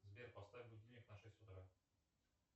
сбер поставь будильник на шесть утра